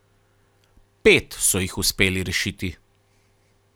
Pet so jih uspeli rešiti.